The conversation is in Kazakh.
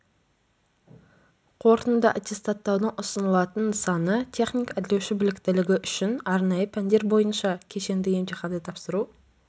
қорытынды аттестаттаудың ұсынылатын нысаны техник-әрлеуші біліктілігі үшін арнайы пәндер бойынша кешенді емтиханды тапсыру